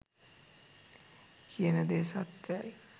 කියන දේ සත්‍යයි.